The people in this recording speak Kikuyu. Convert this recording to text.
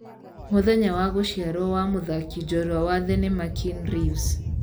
mũthenya wa gũciarwo wa mũthakĩ jorũa wa thenema Keanu Reeves